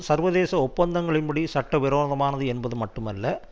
சர்வதேச ஒப்பந்தங்களின் படி சட்ட விரோதமானது என்பது மட்டுமல்ல